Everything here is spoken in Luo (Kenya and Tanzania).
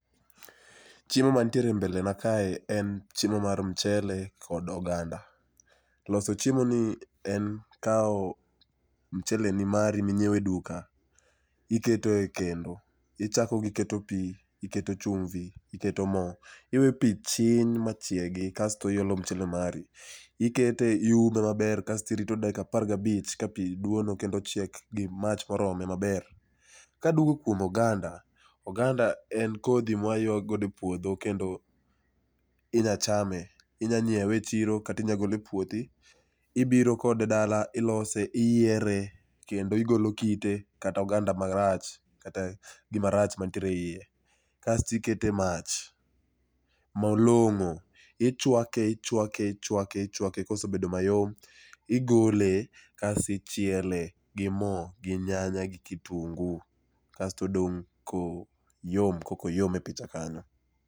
Chiemo mantiere e mbele na kae en chiemo mar mchele kod oganda. Loso chiemoni en kawo mchele ni mari minyiewe e duka. Ikeo e kendo, ichako gi keto pi, iketo chumvi, iketo mo. iwe pi chiny ma chiegi kasto iolo mchele mari. Ikete, iume maber kasto irito dakika apar gabich ka pi duono kendo chiek gi mach morome maber. Kaduogo kuom oganda, oganda mwaywa godo e puodho, kendo inyachame. Inyanyiewe echiro, kata inyagole e puothi ibiro kode dala, ilose iyiere, kendo igolo kite kata oganda marach kata gi marach manitiere e iye. Kas tikete mach malong'o ichwake ichwake ichwake ichwake kosebedo mayom igole kas ichiele gi mo gi nyanya gi kitungu kas todong' ko yom kakoyom e picha kanyo.